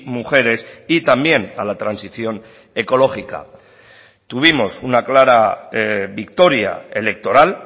mujeres y también a la transición ecológica tuvimos una clara victoria electoral